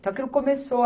Então, aquilo começou.